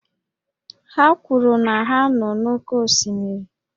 Ha kwuru na ha nọ n'oké osimiri